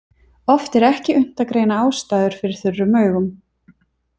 Oft er ekki unnt að greina ástæður fyrir þurrum augum.